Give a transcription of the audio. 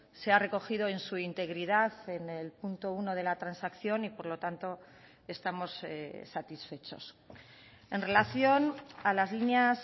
se ha recogido en su integridad en el punto uno de la transacción y por lo tanto estamos satisfechos en relación a las líneas